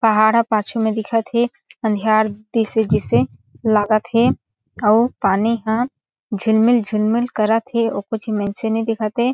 पहाड़ ह पाछु म दिखत हे अंधियार दिस तइसे जईसे लागत हे आऊ पानी हा झिलमिल-झिलमिल करत हे एको झी मइनसे नई दिखत हे।